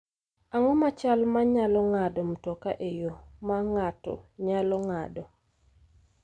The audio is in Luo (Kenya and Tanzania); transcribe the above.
Ang�o ma chal ma ng�ado mtoka e yo ma ng�ato nyalo ng�ado?